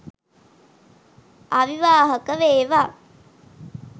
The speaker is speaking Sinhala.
අවිවාහක වේවා